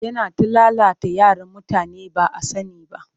Yana ta lalata yaran mutane ba a sani ba